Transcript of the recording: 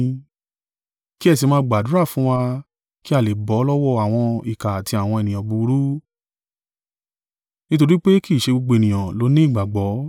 Kí ẹ sì máa gbàdúrà fún wa kí a lè bọ́ lọ́wọ́ àwọn ìkà àti àwọn ènìyàn búburú, nítorí pé kì í ṣe gbogbo ènìyàn ló ní ìgbàgbọ́.